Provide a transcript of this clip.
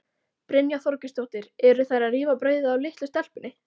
Brynja Þorgeirsdóttir: Eru þær að rífa brauðið af litlu stelpunni?